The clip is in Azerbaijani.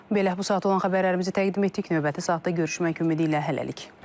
Belə, bu saata olan xəbərlərimizi təqdim etdik, növbəti saatda görüşmək ümidi ilə hələlik.